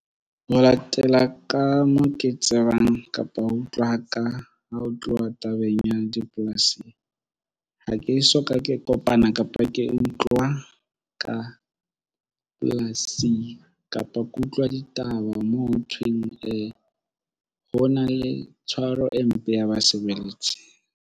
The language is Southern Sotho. Ho latela ka moo ke tsebang kapa ho utlwa ka ha ho tluwa tabeng ya dipolasing. Ha ke soka ke kopana kapa ke utlwa ka polasing kapa ke utlwa ditaba mo ho thweng. Ee, ho na le tshwaro e mpe ya ba sebeletsa.